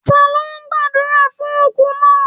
Ta lo gbàdúrà fún òkú náà?